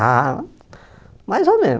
Ah, mais ou menos.